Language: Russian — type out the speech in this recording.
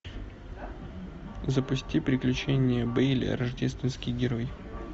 запусти приключения бейли рождественский герой